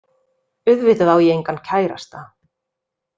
Auðvitað á ég engan kærasta